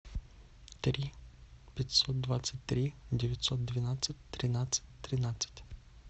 три пятьсот двадцать три девятьсот двенадцать тринадцать тринадцать